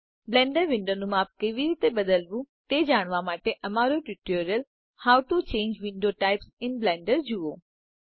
Blender વિન્ડોનું માપ કેવી રીતે બદલવું તે જાણવા માટે અમારૂ tutorial how to change window types in Blender જુઓ